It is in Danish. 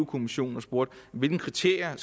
kommissionen og spurgte hvilke kriterier